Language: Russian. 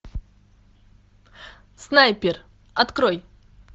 снайпер открой